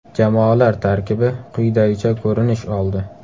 Jamoalar tarkibi quyidagicha ko‘rinish oldi.